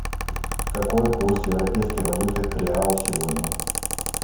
какой курс европейской валюты к реалу сегодня